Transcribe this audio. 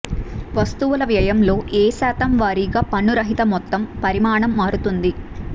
వస్తువుల వ్యయంలో ఏ శాతం వారీగా పన్ను రహిత మొత్తం పరిమాణం మారుతుంది